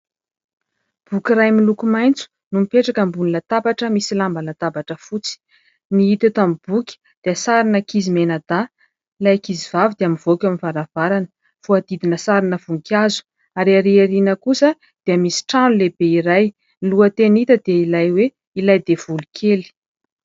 Boky iray miloko maitso no mipetraka ambony latabatra misy lamba latabatra fotsy. Ny hita eto amin'ny boky dia sarin'ankizy mianadahy, ilay ankizivavy dia mivoaka eo amin'ny varavarana, voahodidina sarina voninkazo ary erỳ aoriana kosa dia misy trano lehibe iray. Ny lohateny hita dia ilay hoe : "Ilay devoly kely".